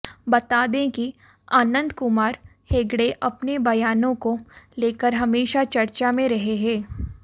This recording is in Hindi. बता दें कि अनंत कुमार हेगड़े अपने बयानों को लेकर हमेशा चर्चा में रहे हैं